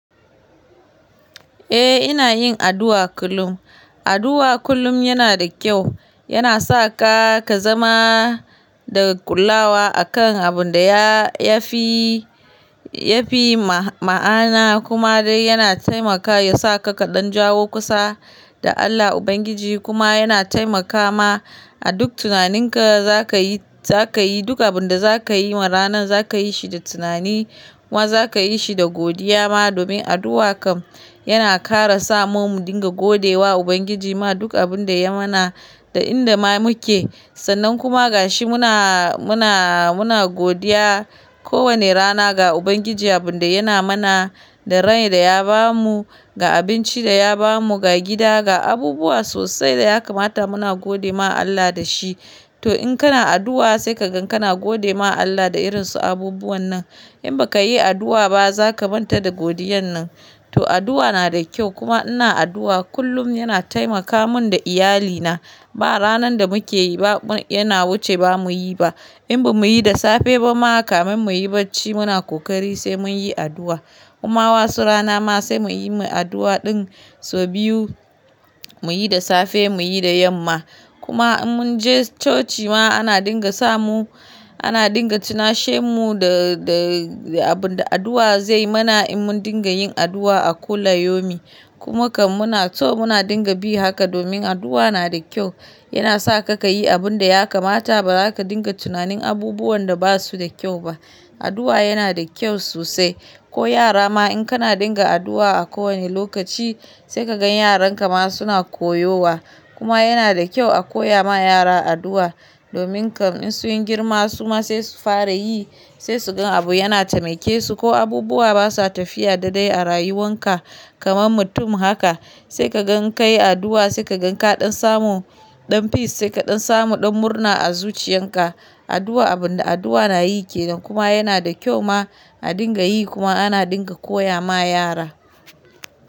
Eh ina yin addu'a kullum. Addu'a kullum yana da kyau, yana sa ka, ka zama da ƙullawa a kan abun da ya fi, ya fi ma'ana kuma dai yana taimaka yasa ka ka ɗan jawo kusa da Allah Ubangiji kuma yana taimaka ma a duk tunaninka za ka yi, za ka yi duk abin da za ka yi ma ranan za ka yi shi da tunani kuma za ka yi shi da godiya ma domin addu'a kam yana ƙara sa mu mun dinga gode wa Ubangiji ma duk abun da ya mana da inda ma muke sannan kuma gashi muna, muna, muna godiya ko wane rana ga Ubangiji abun da yana mana, da rai da ya ba mu, ga abinci da ya ba mu, ga gida, ga abubuwa sosai da ya kamata muna gode ma Allah da shi. To in kana addu'a sai ka gan kana gode ma Allah da irin su abubuwan nan. In ba ka yi addu'a ba za ka manta da godiyan nan. To addu'a na da kyau kuma ina addu'a kullum yana taimaka mun da iyalina. Ba ranan da muke yi ba yana wuce ba mu yi ba. In ba mu yi da safe ba ma kamun mu yi bacci muna ƙoƙari sai mun yi addu'a. Kuma wasu rana ma sai muyi addu'a ɗin sau biyu, muyi da safe muyi da yamma. Kuma in mun je coci ma ana dinga sa mu, ana dinga tunashe mu da, da abun da addu'a zai mana in mun dinga yin addu'a a kula yomi. Kuma kam muna so muna dinga bi haka domin addu'a na da kyau. Yana sa ka ka yi abun da ya kamata ba za ka dinga tunanin abubuwan da ba su da kyau ba. Addu'a yana da kyau sosai. Ko yara ma in kana dinga addu'a a ko wane lokaci sai ka gan yaran ka ma suna koyo wa. Kuma yana da kyau a koya ma yara addu'a domin kam in sun yi girma suma sai su fara yi, sai su gan abu yana taimake su ko abubuwa basa tafiya da dai a rayuwan ka kamar mutum haka sai ka gan ka yi addu'a sai ka gan ka ɗan samu ɗan peace sai ka ɗan samu ɗan murna a zuciyan ka. Addu'a abun da addu'a na yi ke nan kuma yana da kyau ma a dinga yi kuma ana dinga koya ma yara.